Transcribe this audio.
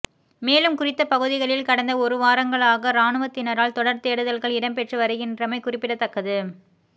மேலும் குறித்த பகுதிகளில் கடந்த ஒரு வாரங்களாக இராணுவத்தினரால் தொடர் தேடுதல்கள் இடம்பெற்றுவருகின்றமை குறிப்பிடத்தக்கது